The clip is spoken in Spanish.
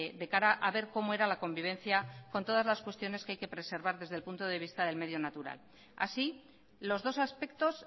de cara a ver cómo era la convivencia con todas las cuestiones que hay que preservar desde el punto de vista del medio natural así los dos aspectos